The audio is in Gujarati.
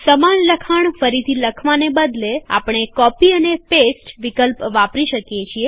સમાન લખાણ ફરીથી લખવાને બદલે આપણે કોપી અને પેસ્ટ વિકલ્પ વાપરી શકીએ છીએ